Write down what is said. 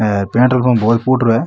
ए petrol pump बहोत फूटरो है।